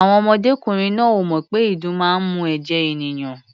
Àwọn ọmọdékùnrin náà ò mọ̀ pé ìdun máa ń mu ẹ̀jẹ̀ ènìyàn.